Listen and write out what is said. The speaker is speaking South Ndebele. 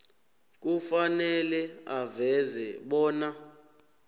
kufanele aveze bona